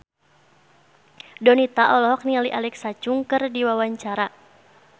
Donita olohok ningali Alexa Chung keur diwawancara